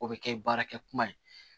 O bɛ kɛ baarakɛ kuma ye